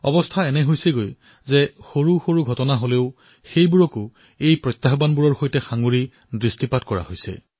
অৱস্থা এনে হৈছে যে ইমান সৰু সৰু ঘটনাকো জনসাধাৰণে এই প্ৰত্যাহ্বানসমূহৰ সৈতে সাদৃশ্যতা দেখিবলৈ পাইছে